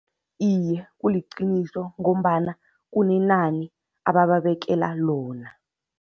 Iye, kuliqiniso ngombana kunenani abababekela lona.